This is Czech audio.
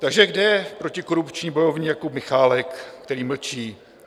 Takže kde je protikorupční bojovník Jakub Michálek, který mlčí?